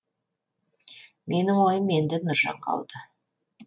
менің ойым енді нұржанға ауды